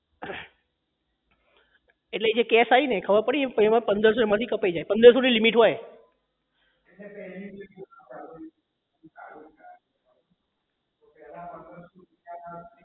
એટલે જે cash આઈ ને ખબર પડી એટલે પંદર સો એમાં થી કપાઈ જાય પંદર સો ની લિમિટ હોય